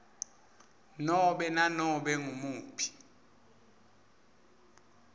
nobe nanobe ngumuphi